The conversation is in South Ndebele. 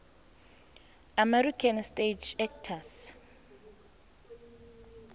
american stage actors